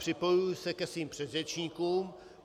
Připojuji se ke svým předřečníkům.